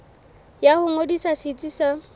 ya ho ngodisa setsi sa